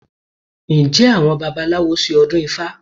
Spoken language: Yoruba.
Ǹjẹ́ àwọn babaláwo ṣe ọdún ifá?